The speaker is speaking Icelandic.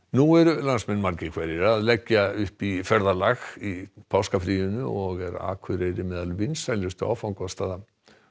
nú eru landsmenn margir hverjir að leggja upp í ferðalag í páskafríinu og Akureyri er meðal vinsælustu áfangastaða